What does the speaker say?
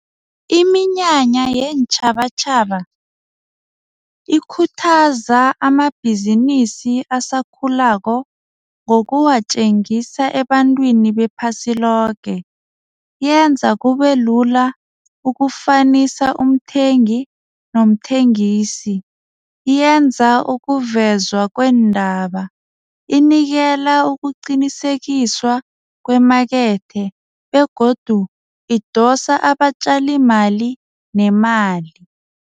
Iminyanya yeentjhabatjhaba ikhuthaza amabhizinisi asakhulako ngokuwatjengisa ebantwini wephasi loke, yenza kube lula ukufanisa umthengi nomthengisi, yenza ukuvezwa kweendaba inikela ukuqinisekiswa kwemakethe begodu idosa abatjalimali nemali.